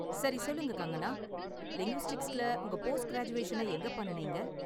சரி, சொல்லுங்க கங்கனா, லிங்குவிஸ்டிக்ஸ்ல உங்க போஸ்ட் கிராஜுவேஷனை எங்க பண்ணுனீங்க?